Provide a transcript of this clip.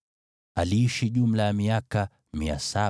Lameki aliishi jumla ya miaka 777, ndipo akafa.